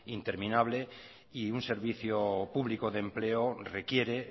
interminable y un servicio público de empleo requiere